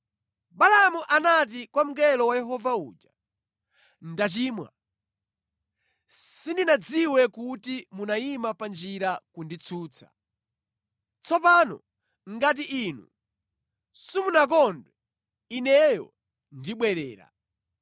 Balaamu anati kwa mngelo wa Yehova uja, “Ndachimwa. Sindinadziwe kuti munayima pa njira kunditsutsa. Tsopano ngati Inu simunakondwe, ineyo ndibwerera.”